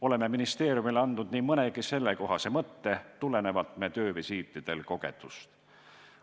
Oleme ministeeriumile andnud nii mõnegi sellekohase mõtte tulenevalt meie töövisiitidel kogetust.